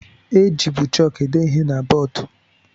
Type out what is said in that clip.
E jibu chọọku ede ihe na bọọdụ.